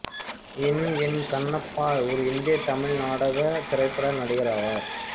என் N Kannappa ஒரு இந்திய தமிழ் நாடக திரைப்பட நடிகராவார்